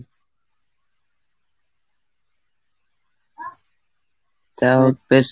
তাও